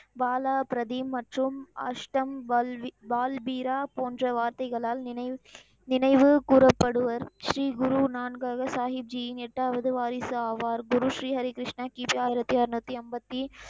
பாலா பிரதீம் மற்றும் அஷ்டம் வல்வி, வால் வீரா, போன்ற வார்த்தைகளால் நினைவு, நினைவு கூறப்படுவர். ஸ்ரீ குரு நான்காவது சாஹீஜியின் எட்டாவது வாரிசாவார். குரு ஸ்ரீ ஹரிகிருஷ்ணா கிபி ஆயிரத்தி அறுநூத்தி அம்பத்தி,